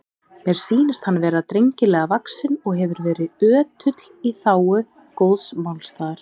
Mér sýnist hann vera drengilega vaxinn og hefur verið ötull í þágu góðs málstaðar.